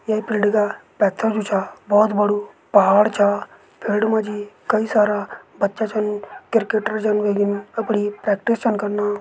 ये फिल्ड का पेथर जु छा बोहोत बड़ु पहाड़ छा। फील्ड मजी कई सारा बच्चा छन। किरकेटर जन वेगीन अपड़ी प्रैक्टिस छन कन्ना।